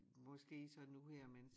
Måske så nu her mens